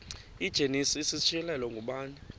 igenesis isityhilelo ngubani